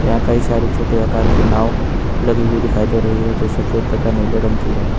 यहां कई सारे छोटे आकार के नाव लगी हुई दिखाई दे रही है जो सफेद तथा नीले रंग की है।